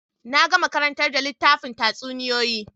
Na gama karantar da littafin tatsuniyoyin